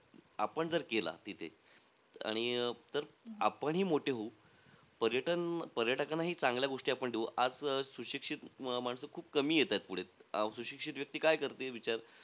आपण जर केला तिथे. आणि अं आपणही मोठे होऊ. पर्यटन पर्यटकांनाही चांगल्या गोष्टी आपण देऊ. आज अं सुशिक्षित माणसं खूप कमी येतायत पुढे. अं सुशिक्षित व्यक्ती काय करते विचार?